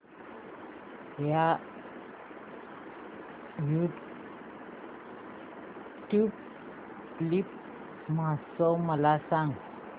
tulip महोत्सव मला सांग